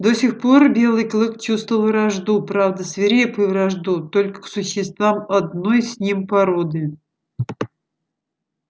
до сих пор белый клык чувствовал вражду правда свирепую вражду только к существам одной с ним породы